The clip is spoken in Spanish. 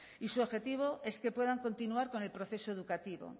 y su objetivo es que puedan continuar con el proceso educativo